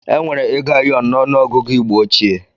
Enwere ego ayọn n'ọnụ ọgụgụ igbo óchiè